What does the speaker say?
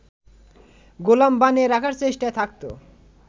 গোলাম বানিয়ে রাখার চেষ্টায় থাকত